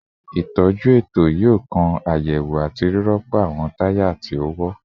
Itọju eto yoo kan ayewo ati rirọpo awọn taya ti o wọ